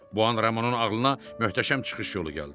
Bu an Ramonun ağlına möhtəşəm çıxış yolu gəldi.